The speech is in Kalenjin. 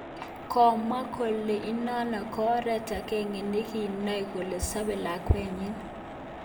Komwa kole inonon ko oret agenge nekinoen kele sobe lakwenyin